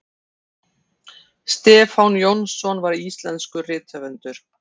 stefán jónsson var íslenskur rithöfundur